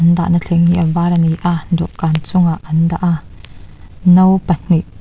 dahna thleng hi a var a ni a dawhkan chungah an dah a no pahnih--